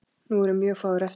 Nú eru mjög fáir eftir.